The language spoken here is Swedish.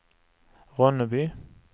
Ronneby